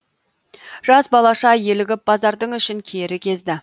жас балаша елігіп базардың ішін кері кезді